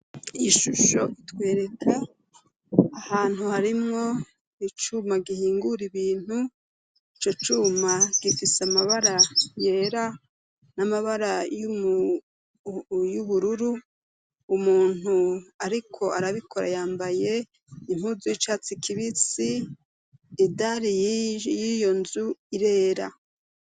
Ishusho itwereka ahantu harimo icuma gihingura ibintu ico cuma gifise amabara yera n'amabara y'ubururu umuntu ariko arabikora yambaye impuzu y'icatsi kibisi idali y'iyo nzu irera.